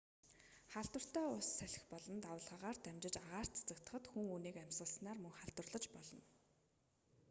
халдвартай ус салхи болон давалгаагаар дамжин агаарт цацагдахад хүн үүнийг нь амьсгалснаар мөн халдварлаж болно